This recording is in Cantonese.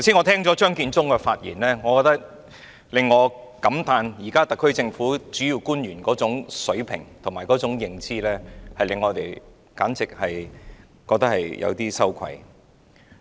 聽過張建宗剛才的發言後，我感歎現時特區政府主要官員的水平和認知，簡直令我們感到有點羞愧。